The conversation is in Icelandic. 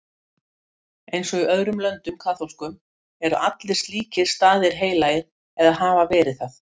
Eins og í öðrum löndum kaþólskum eru allir slíkir staðir heilagir eða hafa verið það.